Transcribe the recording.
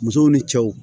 Musow ni cɛw